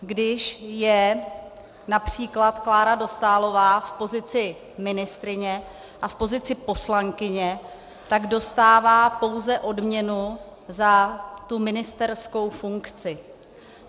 Když je například Klára Dostálová v pozici ministryně a v pozici poslankyně, tak dostává pouze odměnu za tu ministerskou funkci.